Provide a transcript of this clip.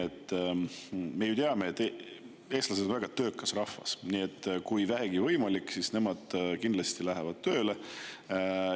Me ju teame, et eestlased on väga töökas rahvas, nii et kui vähegi võimalik, siis nad kindlasti lähevad tööle.